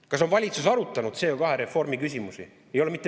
Kas on valitsus arutanud CO2-reformi küsimusi?